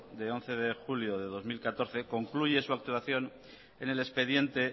de once de julio de dos mil catorce concluye su actuación en el expediente